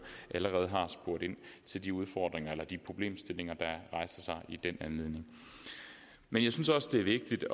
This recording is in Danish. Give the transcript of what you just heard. allerede har spurgt ind til de udfordringer eller de problemstillinger der rejser sig i den anledning men jeg synes også det er vigtigt